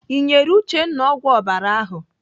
Ị nyere Uchenna ọgwụ ọbara ahụ?